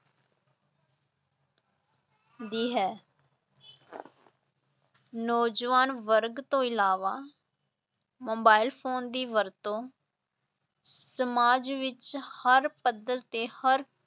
ਦੀ ਹੈ ਨੌਜਵਾਨ ਵਰਗ ਤੋਂ ਇਲਾਵਾ ਮੋਬਾਇਲ ਫ਼ੋਨ ਦੀ ਵਰਤੋਂ ਸਮਾਜ ਵਿਚ ਹਰ ਪੱਧਰ ਤੇ ਹਰ